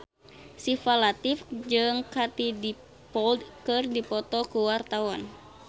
Syifa Latief jeung Katie Dippold keur dipoto ku wartawan